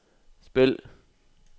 spil